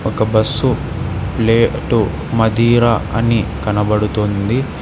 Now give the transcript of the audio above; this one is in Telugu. ఒక బస్సు ప్లేటు మధీర అని కనపడుతుంది.